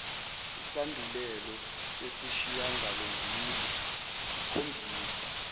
isandulelo sesishiyangalombili sikhombisa